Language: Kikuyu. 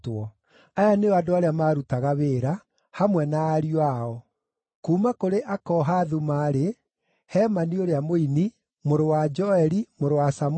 Aya nĩo andũ arĩa maarutaga wĩra, hamwe na ariũ ao: Kuuma kũrĩ Akohathu maarĩ: Hemani ũrĩa mũini, mũrũ wa Joeli, mũrũ wa Samũeli,